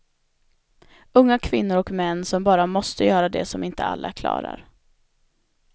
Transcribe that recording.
Unga kvinnor och män som bara måste göra det som inte alla klarar.